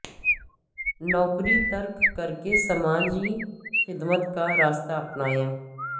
نوکری ترک کر کے سماجی خدمت کا راستہ اپنایا